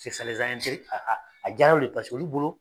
a diyara olu ye paseke olu bolo